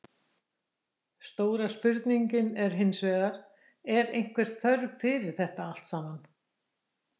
Stóra spurningin er hinsvegar, er einhver þörf fyrir þetta allt saman?